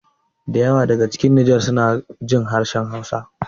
Da yawa daga cikin ƴan nijar sunajin harshen hausa